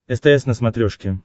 стс на смотрешке